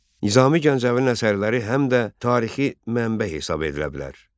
Nizami Gəncəvinin əsərləri həm də tarixi mənbə hesab edilə bilər.